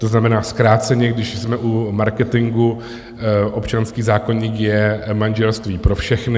To znamená, zkráceně, když jsme u marketingu: občanský zákoník je manželství pro všechny.